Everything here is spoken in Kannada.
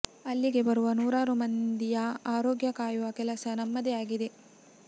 ಅಲ್ಲಿಗೆ ಬರುವ ನೂರಾರು ಮಂದಿಯ ಆರೋಗ್ಯ ಕಾಯುವ ಕೆಲಸ ನಮ್ಮದೇ ಆಗಿದೆ